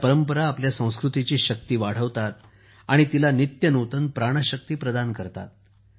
ह्या परंपरा आपल्या संस्कृतीची शक्ती वाढवतात आणि तिला नित्यनूतन प्राणशक्ती प्रदान करतात